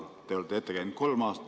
Te olete ette näinud kolm aastat.